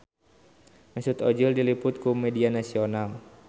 Mesut Ozil diliput ku media nasional